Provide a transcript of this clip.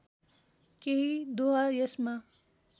केही दोहा यसमा